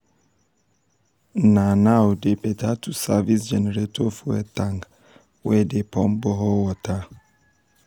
na now dey better to service generator fuel tank um wey dey pump borehole water.